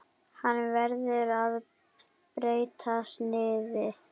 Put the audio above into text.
Hann verður með breyttu sniði.